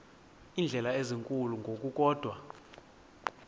iindleko ezinkulu ngokukodwa